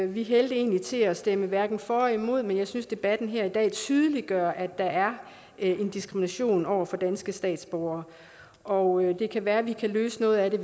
vi hældte egentlig til at stemme hverken for eller imod men jeg synes debatten her i dag tydeliggør at der er en diskrimination over for danske statsborgere og det kan være at vi kan løse noget af det